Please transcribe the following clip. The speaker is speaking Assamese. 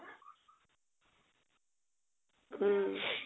উম